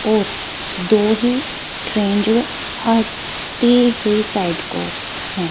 और दो ही ट्रेन जो है आती हुई साइड को है।